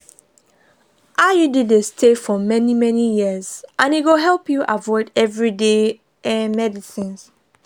iud dey stay for many-many years and e go help you avoid everyday um medicines.